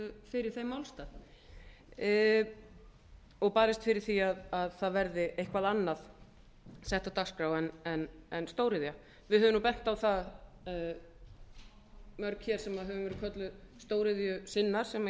fyrir þeim málstað og barist fyrir því að það verði eitthvað annað sett á dagskrá en stóriðja við höfum nú bent á það mörg hér sem höfum verið köllum stóriðjusinnar sem